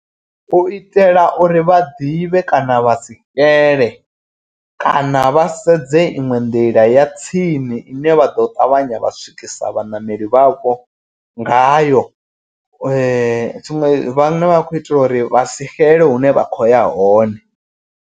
U itela uri vha ḓivhe kana vha sixele kana vha sedze iṅwe nḓila ya tsini. I ne vha ḓo ṱavhanya vha swikisa vhaṋameli vha vho ngayo . Tshiṅwe vhane vha khou itela uri vhasi xele hune vha khoya hone.